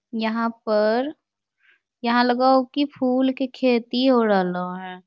यहॉँ पर यहाँ लग हो की फूल के खेती हो रहलो हे |